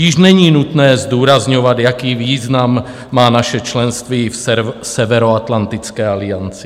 Již není nutné zdůrazňovat, jaký význam má naše členství v Severoatlantické alianci.